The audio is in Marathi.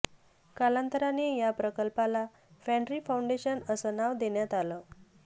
कालांतराने या प्रकल्पाला फँड्री फाऊंडेशन असं नाव देण्यात आलं